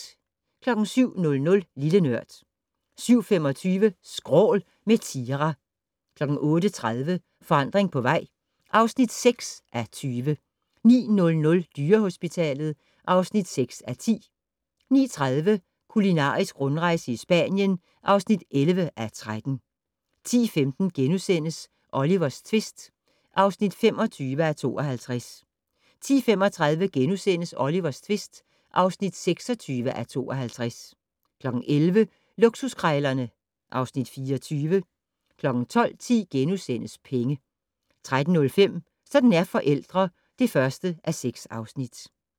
07:00: Lille Nørd 07:25: Skrål - med Tira 08:30: Forandring på vej (6:20) 09:00: Dyrehospitalet (6:10) 09:30: Kulinarisk rundrejse i Spanien (11:13) 10:15: Olivers tvist (25:52)* 10:35: Olivers tvist (26:52)* 11:00: Luksuskrejlerne (Afs. 24) 12:10: Penge * 13:05: Sådan er forældre (1:6)